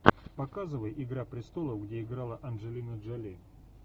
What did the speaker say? показывай игра престолов где играла анджелина джоли